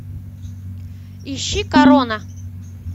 ищи корона